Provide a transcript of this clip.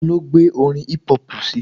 Ta ló gbé orin hip-hop síi?